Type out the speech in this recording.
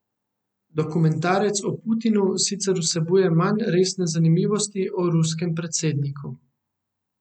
Dokumentarec o Putinu sicer vsebuje manj resne zanimivosti o ruskem predsedniku.